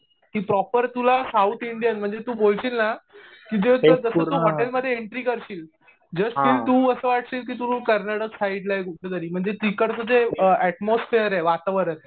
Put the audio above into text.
ती प्रॉपर तुला south Indian म्हणजे तु बोलशील ना कि जसं ती हॉटेलमध्ये एंट्री करशील जस्ट तुला असं वाटशील कि तु कर्नाटक साईडला आहे कुठंतरी. म्हणजे तिकडचं जे ऍटमॉसफियेर आहे वातावरण.